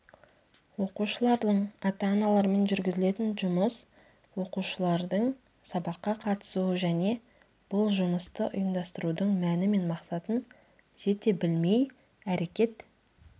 оқушылардың ата-аналарымен жүргізілетін жұмыс оқушылардың сабаққа қатысуы және бұл жұмысты ұйымдастырудың мәні мен мақсатын жете білмей әрекет